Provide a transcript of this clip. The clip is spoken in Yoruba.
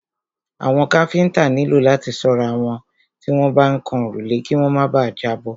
Àwọn káfíńńtà nílò láti ṣọ́ra tí wọ́n bá ń kan òrùlé kí wọ́n má bà à jábọ́.